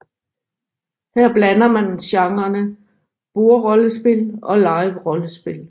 Her blander man genrene bordrollespil og liverollespil